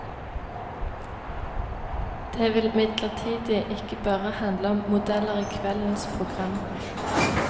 Det vil imidlertid ikke bare handle om modeller i kveldens program.